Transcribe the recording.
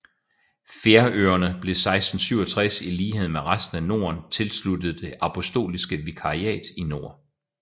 Færøerne blev 1667 i lighed med resten af Norden tilsluttet Det apostoliske vikariat i nord